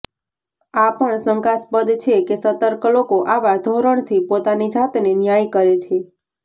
આ પણ શંકાસ્પદ છે કે સતર્ક લોકો આવા ધોરણથી પોતાની જાતને ન્યાય કરે છે